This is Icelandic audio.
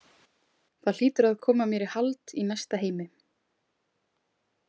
Það hlýtur að koma mér í hald í næsta heimi.